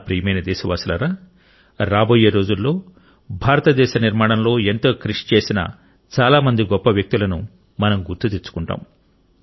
నా ప్రియమైన దేశవాసులారా రాబోయే రోజుల్లో భారతదేశ నిర్మాణంలో ఎంతో కృషి చేసిన చాలా మంది గొప్ప వ్యక్తులను మనం గుర్తు తెచ్చుకుంటాం